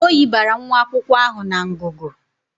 Oyi bara nwa akwụkwọ ahụ na ngụgụ.